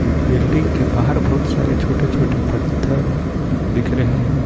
Building के बाहर बहुत सारे छोटे छोटे पत्थर दिख रहे है।